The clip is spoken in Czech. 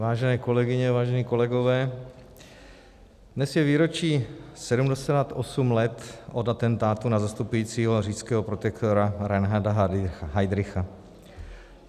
Vážené kolegyně, vážení kolegové, dnes je výročí 78 let od atentátu na zastupujícího říšského protektora Reinharda Heydricha.